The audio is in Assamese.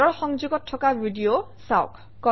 তলৰ সংযোগত থকা ভিডিঅ চাওক